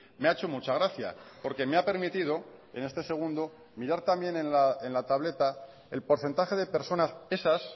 me ha hecho mucha gracia porque me ha permitido en este segundo mirar también en la tableta el porcentaje de personas esas